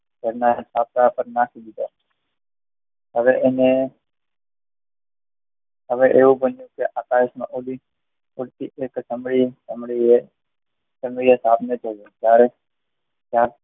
ઘરના છાપરા પર નાખી દીધા. હવે એને હવે એવું કહ્યું